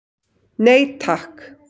Nei takk.